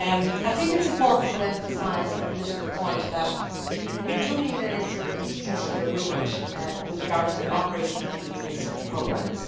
It is important to emphasise the political point that we do need an interinstitutional agreement with regard to the operation of the EU research programmes.